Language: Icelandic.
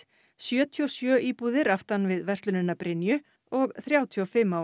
sjötíu og sjö íbúðir aftan við verslunina Brynju og þrjátíu og fimm á